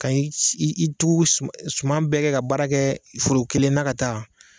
Ka i tugu suman suman bɛɛ kɛ ka baara kɛ foro kelen na ka taa